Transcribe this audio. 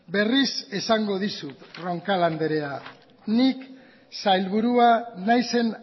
berriz esango dizut roncal andrea nik sailburua naizen